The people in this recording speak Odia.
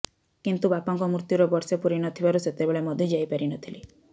କିନ୍ତୁ ବାପାଙ୍କ ମୃତ୍ୟୁର ବର୍ଷେ ପୂରି ନଥିବାରୁ ସେତେବେଳେ ମଧ୍ୟ ଯାଇପାରି ନଥିଲି